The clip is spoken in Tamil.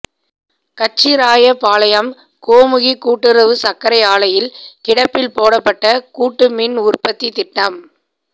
கச்சிராயபாளையம் கோமுகி கூட்டுறவு சர்க்கரை ஆலையில் கிடப்பில் போடப்பட்ட கூட்டு மின் உற்பத்தி திட்டம்